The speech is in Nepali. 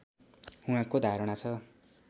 उहाँको धारणा छ